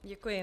Děkuji.